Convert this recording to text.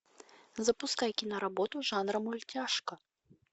запускай киноработу жанра мультяшка